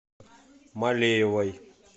малеевой